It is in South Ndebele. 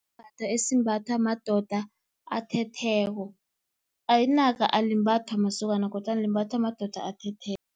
Sisembatho esimbathwa madoda athetheko, inaka alimbathwa masokana kodwana limbathwa madoda athetheko.